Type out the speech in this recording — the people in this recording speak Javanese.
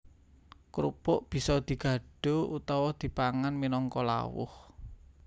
Krupuk bisa digadho utawa dipangan minangka lawuh